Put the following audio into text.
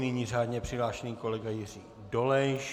Nyní řádně přihlášený kolega Jiří Dolejš.